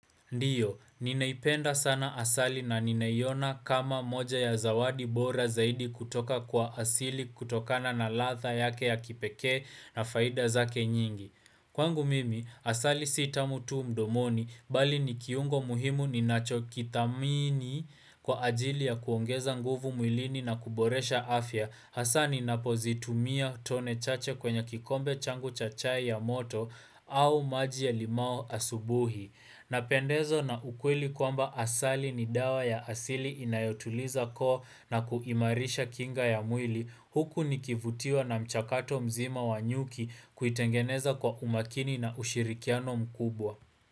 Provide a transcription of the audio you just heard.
Ndio, ninaipenda sana asali na ninaiona kama moja ya zawadi bora zaidi kutoka kwa asili kutokana na ladha yake ya kipekee na faida zake nyingi. Kwangu mimi, asali si tamu tu mdomoni, bali ni kiungo muhimu ninachokithamini kwa ajili ya kuongeza nguvu mwilini na kuboresha afya, hasa ninapozitumia tone chache kwenye kikombe changu cha chai ya moto au maji ya limao asubuhi. Na pendezwa na ukwili kwamba asali ni dawa ya asili inayotuliza koo na kuimarisha kinga ya mwili huku nikivutiwa na mchakato mzima wa nyuki kuitengeneza kwa umakini na ushirikiano mkubwa.